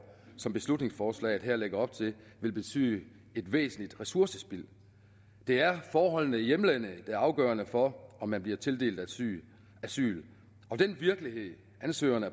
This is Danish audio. som beslutningsforslaget her lægger op til vil betyde et væsentligt ressourcespild det er forholdene i hjemlandet der er afgørende for om man bliver tildelt asyl asyl og den virkelighed ansøgerne